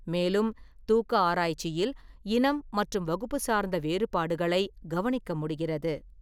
மேலும், தூக்க ஆராய்ச்சியில் இனம் மற்றும் வகுப்பு சார்ந்த வேறுபாடுகளைக் கவனிக்க முடிகிறது.